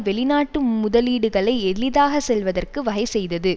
வெளிநாட்டு முதலீடுகளை எளிதாக செல்வதற்கு வகை செய்தது